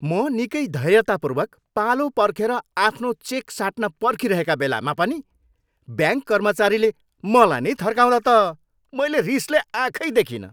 म निकै धैर्यतापूर्वक पालो पर्खेर आफ्नो चेक साट्न पर्खिरहेका बेलामा पनि ब्याङ्क कर्मचारीले मलाई नै थर्काउँदा त मैले रिसले आँखै देखिनँ।